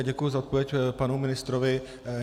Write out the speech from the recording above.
A děkuji za odpověď panu ministrovi.